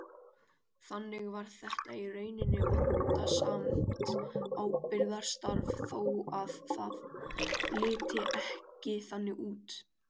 Þannig var þetta í rauninni vandasamt ábyrgðarstarf þó að það liti ekki þannig út.